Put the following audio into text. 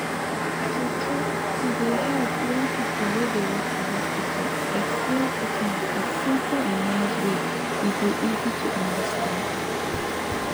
true true e dey help when pipu wey dey work for hospital explain treatment for simple and nice way e go easy to understand